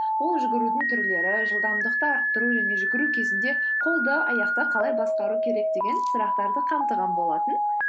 ол жүгірудің түрлері жылдамдықты арттыру және жүгіру кезінде қолды аяқты қалай басқару керек деген сұрақтарды қамтыған болатын